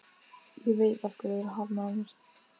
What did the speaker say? Ég veit af hverju þú hafnaðir mér.